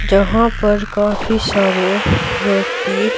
जहां पर काफी सारे व्यक्ति--